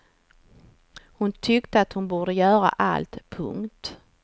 Hon tyckte att hon borde göra allt. punkt